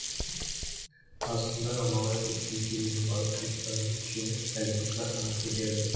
қазақстандағы алмағайып өтпелі кезеңнің барлық қиындықтарын жеңіп әлемдік сахнаға көтерілді